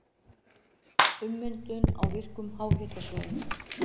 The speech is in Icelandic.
Ummyndun á virkum háhitasvæðum